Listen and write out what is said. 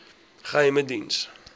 geheimediens